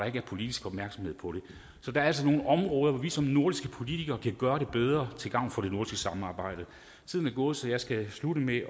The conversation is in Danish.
ikke er politisk opmærksomhed på det så der er altså nogle områder hvor vi som nordiske politikere kan gøre det bedre til gavn for det nordiske samarbejde tiden er gået så jeg skal slutte med